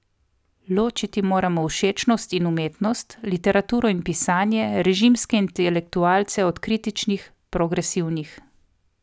Ločiti moramo všečnost in umetnost, literaturo in pisanje, režimske intelektualce od kritičnih, progresivnih.